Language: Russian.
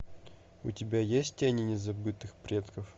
у тебя есть тени незабытых предков